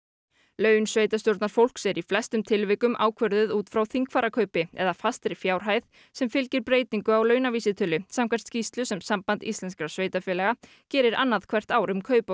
laun sveitarstjórnarfólks eru í flestum tilvikum ákvörðuð út frá þingfararkaupi eða fastri fjárhæð sem fylgir breytingu á launavísitölu samkvæmt skýrslu sem Samband íslenskra sveitarfélaga gerir annað hvert ár um kaup og